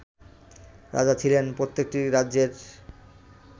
রাজা ছিলেন প্রত্যেকটি রাজ্যের